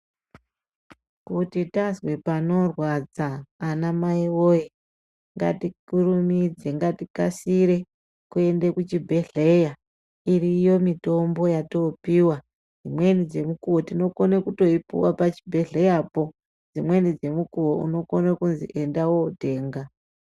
Kuti tazwe panorwadza ana mai woye ngatikurumidze tikasire kuenda kuchibhedhlera iriyo mitombo yatinopiwa dzimweni dzemukuwo tinokona kupuwa pazvibhedhlera dzimweni dzemukuwo unokona kundotemga.